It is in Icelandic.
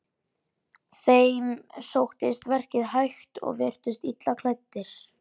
Þeim sóttist verkið hægt og virtust illa klæddir.